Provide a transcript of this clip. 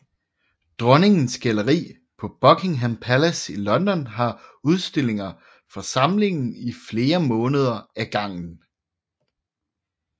Dronningens Galleri på Buckingham Palace i London har udstillinger fra samlingen i flere måneder ad gangen